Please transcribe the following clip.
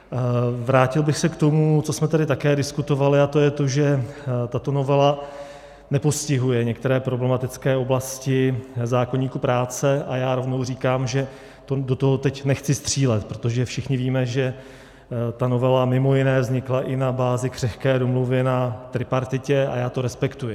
Vrátil bych se k tomu, co jsme tady také diskutovali, a to je to, že tato novela nepostihuje některé problematické oblasti zákoníku práce, a já rovnou říkám, že do toho teď nechci střílet, protože všichni víme, že ta novela mimo jiné vznikla i na bázi křehké domluvy na tripartitě, a já to respektuji.